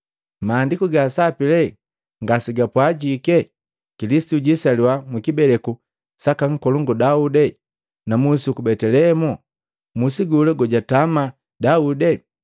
Maandiku ga Sapi lee ngasegapwajiki Kilisitu jisaliwa mukibeleku saka Nkolongu Daudi na musi uku Betelehemu, musi gola gojatama Daudi?”